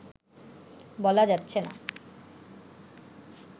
বলা যাচ্ছেনা